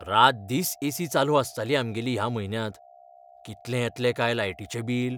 रातदीस AC चालू आसताली आमगेली ह्या म्हयन्यांत. कितलें येतलें काय लायटीचें बील?